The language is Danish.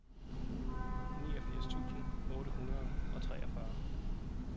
niogfirs tusind otte hundrede og treogfyrre